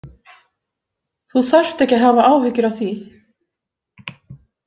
Þú þarft ekki að hafa áhyggjur af því.